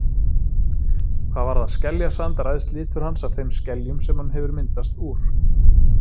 Hvað varðar skeljasand ræðst litur hans af þeim skeljum sem hann hefur myndast úr.